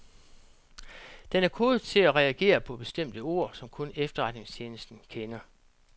Den er kodet til at reagere på bestemte ord, som kun efterretninstjenesten kender.